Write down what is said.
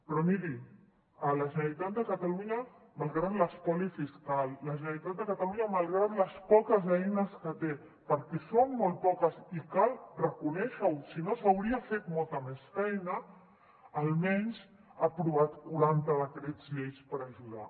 però miri la generalitat de catalunya malgrat l’espoli fiscal la generalitat de catalunya malgrat les poques eines que té perquè són molt poques i cal reconèixer ho si no s’hauria fet molta més feina almenys ha aprovat quaranta decrets llei per ajudar